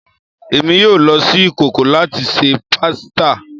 Emi yoo lo si ikoko lati ṣe pasita